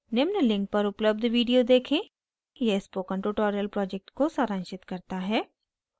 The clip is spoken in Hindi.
निम्न link पर उपलब्ध video देखें यह spoken tutorial project को सारांशित करता है